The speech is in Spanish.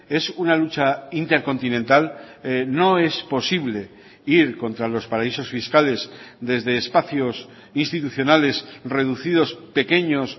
es una lucha intercontinental no es posible ir contra los paraísos fiscales desde espacios institucionales reducidos pequeños